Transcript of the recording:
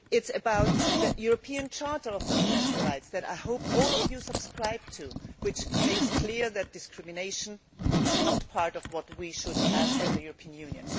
It is about the European Charter of Fundamental Rights which I hope all of you subscribe to which makes clear that discrimination is not part of what we should have in the European Union.